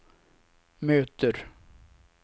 möter